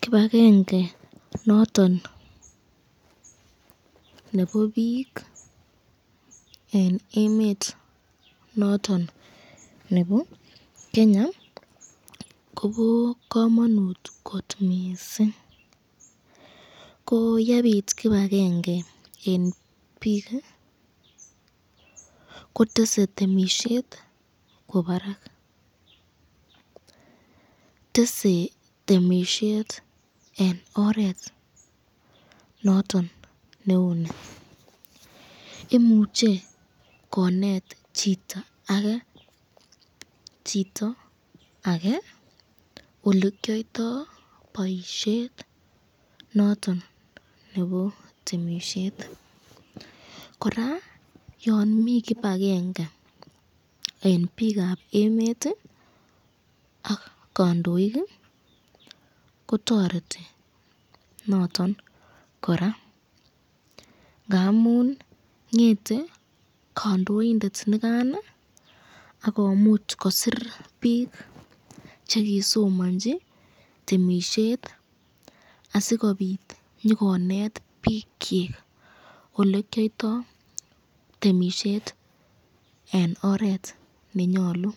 Kibakenge noton nebo bik eng emet noton nebo Kenya Kobo kamanut kot mising, ko yebit kibakenge eng bik kotesen temisyet kwo barak, tese temisyet eng oret noton neu ni, imuche konet chito ake chito ake olekyoto boisyet noton nebo temisyet, koraa yon mi kibakenge eng bikab emet ak kandoik kotoreti noton koraa ngamun ngete kandoindet nikan akomuch kosir bik chekisomanchi temisyet asikobit nyikonet bikyuk olekyoto boisyet eng oret nenyalu,